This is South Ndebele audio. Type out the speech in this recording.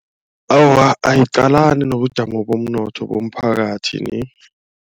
Awa ayiqalani nobujamo bomnotho bomphakathi ni.